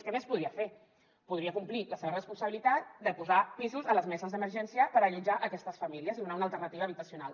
què més podria fer podria complir la seva responsabilitat de posar pisos a les meses d’emergència per allotjar aquestes famílies i donar una alternativa habitacional